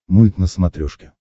мульт на смотрешке